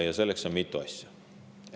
Ja selleks on vaja mitut asja.